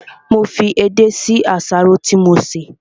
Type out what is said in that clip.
Mo fi edé sí àsáró tí mo sè